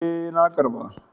E, na ƙarba.